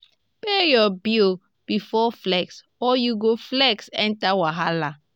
pay your bills before flex or you go flex enter wahala.